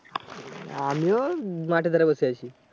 আমিও মাঠের ধারে বসে আছি।